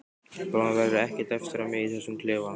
Bráðum verður ekkert eftir af mér í þessum klefa.